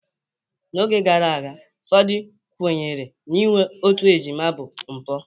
N'oge gara aga, ụfọdụ kwenyere na inwe otu ejima bụ mpụ